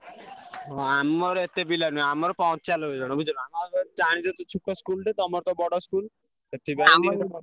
ହଁ ଆମର ଏତେ ପିଲା ନୁହେଁ ଆମର ପଞ୍ଚାନବେ ଜଣ ବୁଝିଲୁ ନା ଆଉ ତୁ ଜାଣିଛ ତ ଛୋଟ school ଟେ ତମର ତ ବଡ school ।